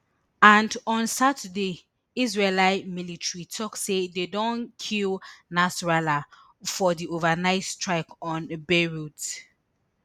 and on saturday israeli military tok say dem don kill nasrallah for di overnight strike on beirut